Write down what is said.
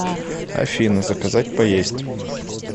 афина заказать поесть